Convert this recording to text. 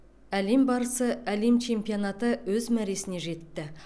әлем барысы әлем чемпионаты өз мәресіне жетті